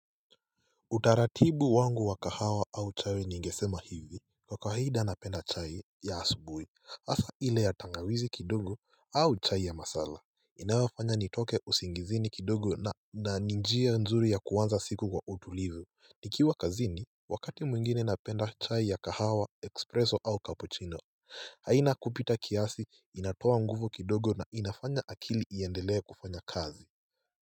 Utaratibu wangu wa kahawa au chai ningesema hivi, kwa kawaida anapenda chai ya asubuhi asa ile ya tangawizi kidogo au chai ya masala. Inayofanya nitoke usingizini kidogo na ni njia nzuri ya kuanza siku kwa utulivu. Nikiwa kazini, wakati mwingine napenda chai ya kahawa, expresso au capuchino haina kupita kiasi, inatoa nguvu kidogo na inafanya akili iendelee kufanya kazi.